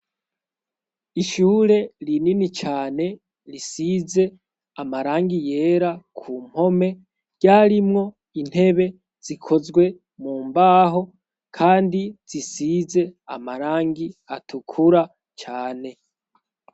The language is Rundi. Ishure rinini cane risize amarangi yera k'umpome. Ryarimwo intebe zikozwe mu mbaho, kandi zisize amarangi atukura cane.